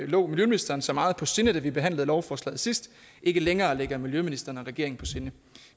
lå miljøministeren så meget på sinde da vi behandlede lovforslaget sidst ikke længere ligger miljøministeren og regeringen på sinde